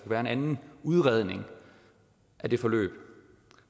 være en anden udredning af det forløb